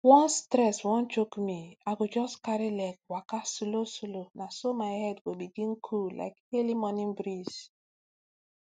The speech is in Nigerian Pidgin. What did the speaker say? once stress wan choke me i go just carry leg waka slowslow na so my head go begin cool like early morning breeze